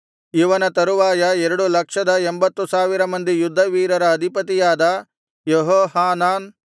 ಇವನ ತರುವಾಯ ಎರಡು ಲಕ್ಷದ ಎಂಭತ್ತು ಸಾವಿರ ಮಂದಿ ಯುದ್ಧವೀರರ ಅಧಿಪತಿಯಾದ ಯೆಹೋಹಾನಾನ್